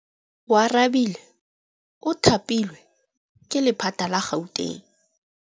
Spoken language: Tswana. Oarabile o thapilwe ke lephata la Gauteng.